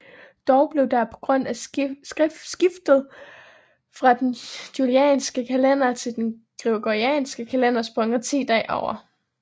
Dog blev der på grund af skiftet fra den julianske kalender til den gregorianske kalender sprunget 10 dage over